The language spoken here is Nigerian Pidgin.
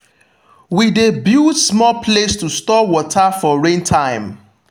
we de build small place to store water for rain time